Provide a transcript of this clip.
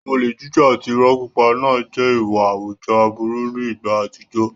Olè jíjà àti ìrọ́ pípa náà jẹ́ ìwà àwùjọ aburú ní ìgbà àtijọ́.